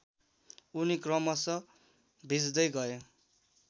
उनी क्रमशः भिज्दै गए